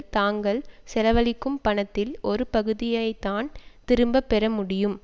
தாங்கள் செலவழிக்கும் பணத்தில் ஒரு பகுதியை தான் திரும்ப பெற முடியும்